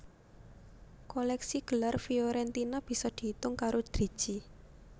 Kolèksi gelar Fiorentina bisa diitung karo driji